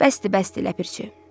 Bəsdir, bəsdir, Ləpərçi.